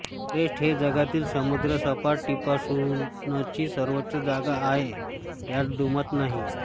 Everest हे जगातील समुद्रसपाटीपासूनची सर्वोच्च जागा आहे यात दुमत नाही